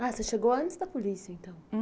Ah você chegou antes da polícia, então? Hum